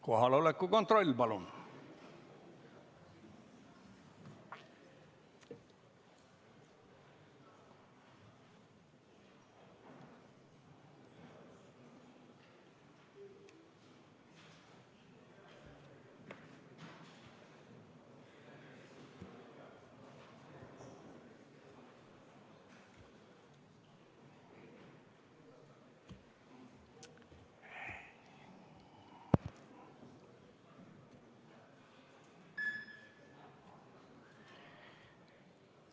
Kohaloleku kontroll, palun!